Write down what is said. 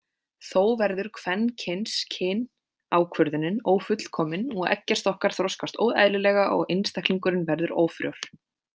Þó verður kvenkynskynákvörðunin ófullkomin og eggjastokkar þroskast óeðlilega og einstaklingurinn verður ófrjór.